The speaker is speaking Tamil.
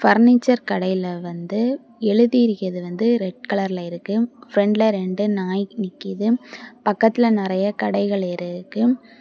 பஞ்சர் கடையில் வந்து எழுதி இருக்கிறது வந்து ரெட் கலர்ல இருக்கு பிரண்ட்ல ரெண்டு நாய் நிக்குது பக்கத்துல நறைய கடைகள் இருக்கு.